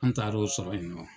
An taar'o sɔrɔ yen nɔ.